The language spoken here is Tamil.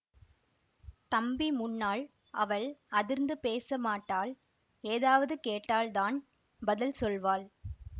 தம்பி முன்னால் அவள் அதிர்ந்து பேச மாட்டாள் ஏதாவது கேட்டால் தான் பதில் சொல்வாள்